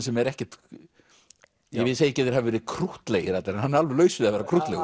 sem er ekkert ég segi ekki að þeir hafi verið krúttlegir allir en hann er alveg laus við að vera krúttlegur